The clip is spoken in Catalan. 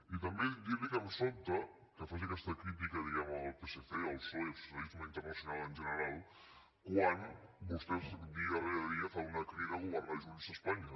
i també dir los que em sobta que facin aquesta crítica diguem ne al psc al psoe al socialisme internacional en general quan vostès dia rere dia fan una crida a governar junts espanya